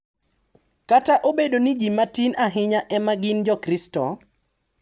Kata obedo ni ji matin ahinya ema gin jokristo.